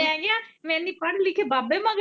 ਮੈਂ ਕਿਹਾ ਤੂੰ ਇੰਨੀ ਪੜ ਲਿਖ ਬਾਬੇ ਮਗਰ।